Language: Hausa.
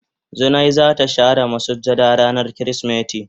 Zinai za ta share masujada rana kirisimeti.